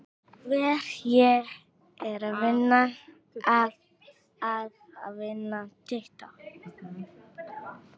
Verð ég að vinna titla?